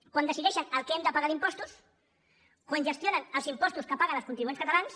quan decideixen el que hem de pagar d’impostos quan gestionen els impostos que paguen els contribuents catalans